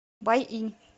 байинь